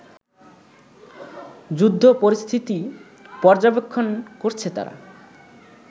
যুদ্ধপরিস্থিতি পর্যবেক্ষণ করছে তারা